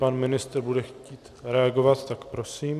Pan ministr bude chtít reagovat, tak prosím.